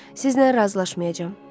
Sizinlə razılaşmayacam.